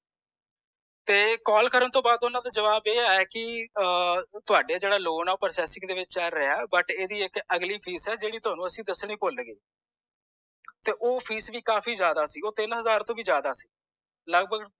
ਤੇ call ਕਰਨ ਤੌਂ ਵਾਦ ਓਹਨਾ ਦਾ ਜਵਾਬ ਇਹ ਆਯਾ ਕੇ ਤੁਹਾਡਾ ਜੇੜਾ loan ਹੈ ਉਹ processing ਦੇ ਵਿਚ ਚਲ ਰਿਹਾ but ਇਹਦੀ ਇਕ ਅਗਲੀ fees ਹੈ ਜੇੜੀ ਅਸੀਂ ਤੁਹਾਨੂੰ ਦਸਣੀ ਭੁੱਲ ਗਏ ਤੇ ਓ fees ਵੀ ਕਾਫੀ ਜ਼ਿਆਦਾ ਸੀ ਉਹ ਤਿੰਨ ਹਜ਼ਾਰ ਤੌਂ ਜ਼ਿਆਦਾ ਸੀ ਲੱਗਭੱਗ